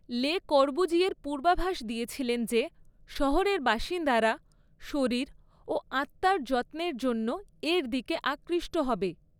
লে কর্বুজিয়ের পূর্বাভাস দিয়েছিলেন যে শহরের বাসিন্দারা 'শরীর ও আত্মার যত্নের' জন্য এর দিকে আকৃষ্ট হবে।